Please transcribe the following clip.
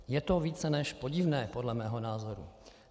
Je to více než podivné, podle mého názoru.